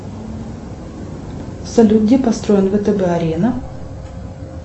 салют где построен втб арена